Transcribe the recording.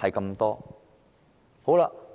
只是這樣而已。